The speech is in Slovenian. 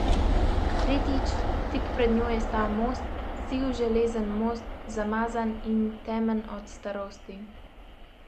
Tretjič, tik pred njo je stal most, siv železen most, zamazan in temen od starosti.